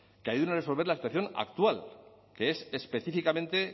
que ayuden a resolver la situación actual que es específicamente